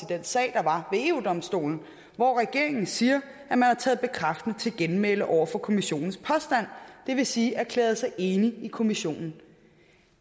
den sag der var ved eu domstolen hvor regeringen siger at man har taget bekræftende til genmæle over for kommissionens påstand det vil sige erklæret sig enig med kommissionen